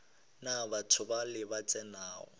na batho bale ba tsenago